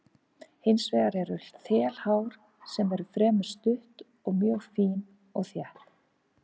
Hins vegar eru þelhár sem eru fremur stutt og mjög fín og létt.